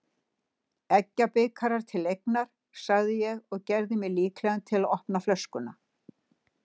Eggjabikar til eignar, sagði ég og gerði mig líklegan til að opna flöskuna.